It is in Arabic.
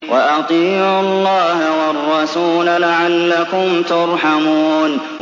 وَأَطِيعُوا اللَّهَ وَالرَّسُولَ لَعَلَّكُمْ تُرْحَمُونَ